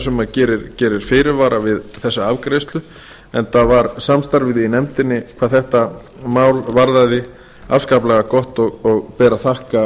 sem gerir fyrirvara við þessa afgreiðslu enda varð samstarfið í nefndinni hvað þetta mál varðaði afskaplega gott og ber að þakka